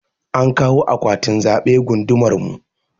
An kawo akwatin zaɓe gundumar mu.